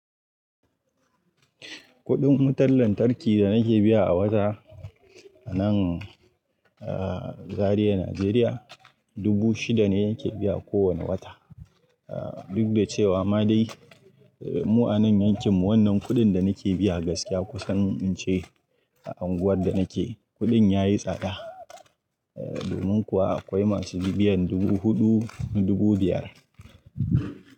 Kuɗin wutar lantarki da nake biya a wata a nan a Zariya, Najeriya dubu shida ne nake biya kowane wata. Duk da cewa ma dai mu anan yankin mu wannan kuɗin da nake biya gaskiya kusan in ce a unguwar da nake kuɗin ya yi tsada. Domin kuwa akwai masu biyan dubu huɗu, dubu biyar.